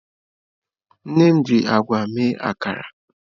Nne m ji agwa mee akara.